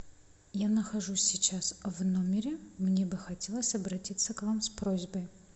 я нахожусь сейчас в номере мне бы хотелось обратиться к вам с просьбой